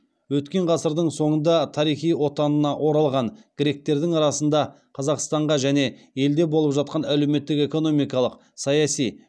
өткен ғасырдың соңында тарихи отанына оралған гректердің арасында қазақстанға және елде болып жатқан әлеуметтік экономикалық саяси